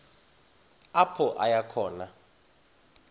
apho aya khona